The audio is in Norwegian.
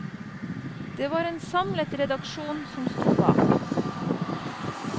Det var en samlet redaksjon som sto bak.